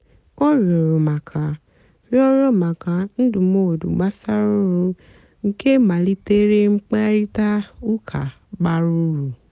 ọ rịọ̀rọ̀ maka rịọ̀rọ̀ maka ndụ́mọ̀dụ́ gbàsàrà ọ́rụ́ nkè malìterè mkpáịrịtà ụ́ka bàrà úrù.